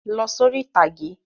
Lọ sórí ìtàgé!